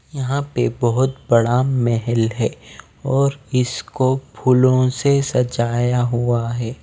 यहाँ पे बहुत बड़ा महल हैं और इसको फूलों से सजाया हुआ हैं।